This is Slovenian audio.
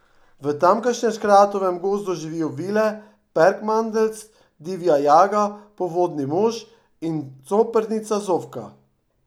V tamkajšnjem škratovem gozdu živijo vile, perkmandeljc, divja jaga, povodni mož in coprnica Zofka.